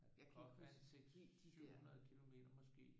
Der kan godt være en 6 700 kilometer måske